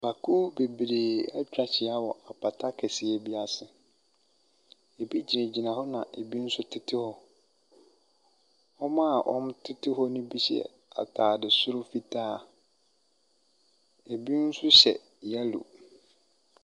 Nnipakuo bebree atwa ahyia wɔ apata kɛseɛ bi ase. Ɛbi gyinagyina hɔ na ɛbi nso tete hɔ. Wɔn a wɔtete hɔno bi hyɛ atade soro fitaa. Ɛbi nso hyɛ yellow.